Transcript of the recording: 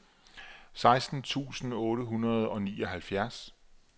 seksten tusind otte hundrede og nioghalvfjerds